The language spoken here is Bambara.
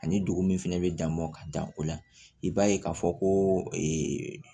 Ani dugu min fɛnɛ bɛ dan mɔ ka dan o la i b'a ye k'a fɔ ko ee